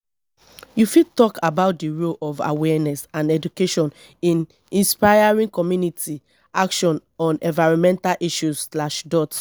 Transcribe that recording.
you fit talk about di role of awareness and education in inspiring community action on environmental issues.